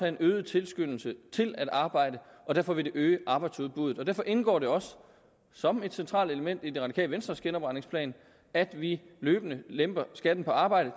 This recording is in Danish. en øget tilskyndelse til at arbejde og derfor vil det øge arbejdsudbuddet derfor indgår det også som et centralt element i det radikale venstres genopretningsplan at vi løbende lemper skatten på arbejde